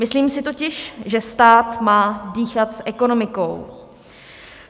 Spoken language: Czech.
Myslím si totiž, že stát má dýchat s ekonomikou.